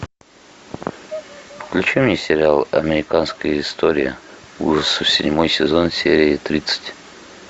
включи мне сериал американская история ужасов седьмой сезон серия тридцать